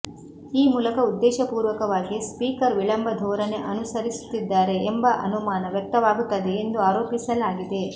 ಈ ಮೂಲಕ ಉದ್ದೇಶಪೂರ್ವಕವಾಗಿ ಸ್ಪೀಕರ್ ವಿಳಂಬ ಧೋರಣೆ ಅನುಸರಿಸುತ್ತಿದ್ದಾರೆ ಎಂಬ ಅನುಮಾನ ವ್ಯಕ್ತವಾಗುತ್ತದೆ ಎಂದು ಆರೋಪಿಸಲಾಗಿದೆ